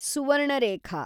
Subarnarekha